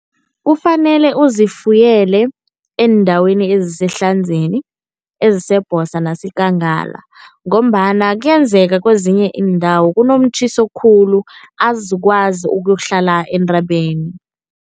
Kufanele uzifuyele eendaweni eziseHlanzeni, eziseBhosa naseKangala ngombana kuyenzeka kwezinye iindawo kunomtjhiso khulu, azizukwazi ukuyokuhlala entabeni.